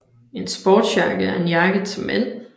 En sportsjakke er en jakke til mænd